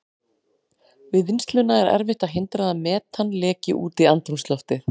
Við vinnsluna er erfitt að hindra að metan leki út í andrúmsloftið.